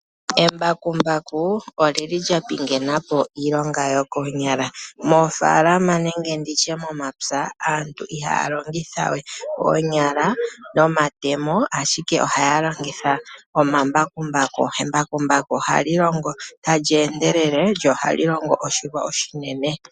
Embakumbaku olili lyapingena po iilonga yokoonyala. Moofaalama nenge momapya aantu ihaya longitha we oonyala nomatemo, ashike ohaya longitha omambakumbaku . Embakumbaku ohali longo ta li endelele , lyo ohali longo oshilwa oshinene.